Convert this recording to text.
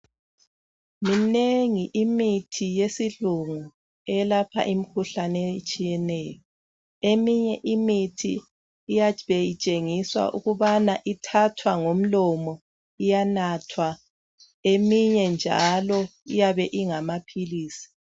Minengi imithi yesilungu eyelapha imikhuhlane etshiyeneyo eminye imithi iyabe itshenigiswa ukubana ithathwa ngomlomo iyanathwa eminye njalo iyabe ingamaphilisi